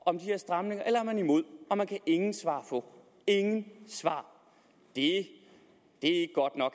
om de her stramninger eller er man imod og man kan ingen svar på ingen svar det